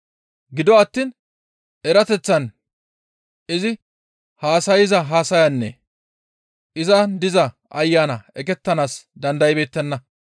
Gido attiin erateththan izi haasayza haasayanne izan diza Ayanaa eqettanaas dandaybeettenna.